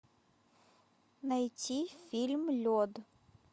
найти фильм лед